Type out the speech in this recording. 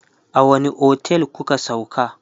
a wani otel kuka sauka?